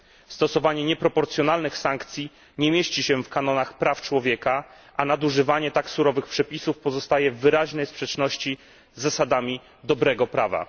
Stosowanie nieproporcjonalnych sankcji nie mieści się w kanonach praw człowieka, a nadużywanie tak surowych przepisów pozostaje w wyraźnej sprzeczności z zasadami dobrego prawa.